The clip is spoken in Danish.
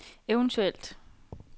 eventuelt